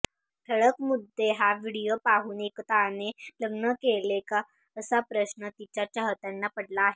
ठळक मुद्देहा व्हिडिओ पाहून एकताने लग्न केले का असा प्रश्न तिच्या चाहत्यांना पडला आहे